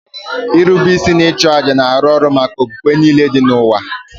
Nrube isi na ịchụ àjà na-arụ ọrụ maka okpukpe niile dị n'ụwa